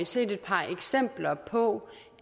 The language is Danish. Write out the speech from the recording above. set et par eksempler på